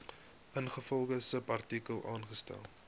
ingevolge subartikel aangestel